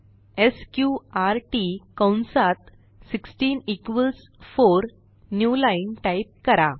SQRT कंसात 16 4 new line type करा